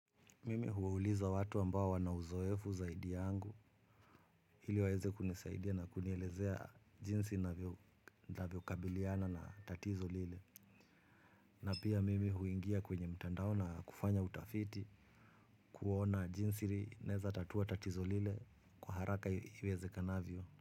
Mimi huuliza watu ambao wana uzoefu zaidi yangu, ili waeze kunisaidia na kunielezea jinsi ninavyo kabiliana na tatizo lile. Na pia mimi huingia kwenye mtandao na kufanya utafiti. Kuona jinsi naweza tatua tatizo lile kwa haraka iwezekanavyo.